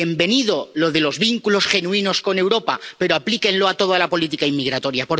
Bienvenido lo de los vínculos genuinos con Europa, pero aplíquenlo a toda la política inmigratoria.